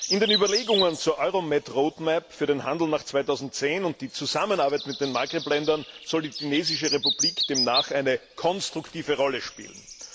In den Überlegungen zur EuroMed Roadmap für den Handel nach 2010 und die Zusammenarbeit mit den Maghreb Ländern soll die tunesische Republik demnach eine konstruktive Rolle spielen.